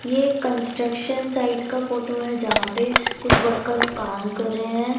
ये एक construction site का फोटो है जहाँ पे कुछ वर्कर्स काम कर रहे हैं।